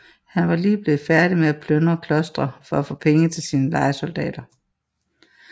Han var lige blevet færdig med at plyndre klostre for at få penge til sine lejesoldater